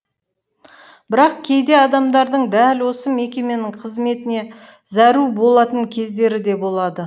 бірақ кейде адамдардың дәл осы мекеменің қызметіне зәру болатын кездері де болады